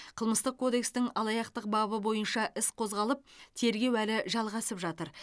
қылмыстық кодекстің алаяқтық бабы бойынша іс қозғалып тергеу әлі жалғасып жатыр